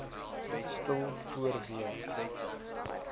stil voor w